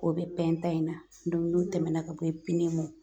O bɛ in na n'o tɛmɛna ka bɔ ye